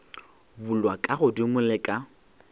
bulwa ka godimo le ka